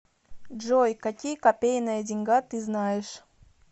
джой какие копейная деньга ты знаешь